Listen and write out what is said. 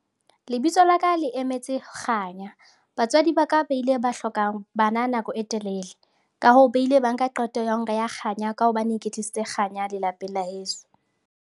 Lebitso la ka le emetse kganya. Batswadi ba ka ba ile ba hlokang bana nako e telele, ka hoo, ba ile ba nka qeto ya ho nreha kganya ka hobane ke tlisitse kganya lelapeng la heso.